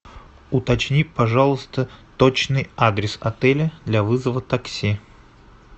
уточни пожалуйста точный адрес отеля для вызова такси